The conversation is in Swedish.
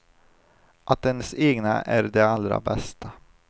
Att ens egna är de allra bästa.